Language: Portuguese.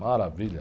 Maravilha.